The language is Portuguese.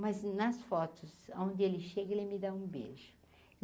Mas nas fotos onde ele chega ele me dá um beijo.